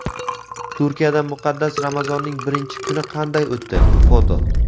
Turkiyada muqaddas Ramazonning birinchi kuni qanday o‘tdi (foto).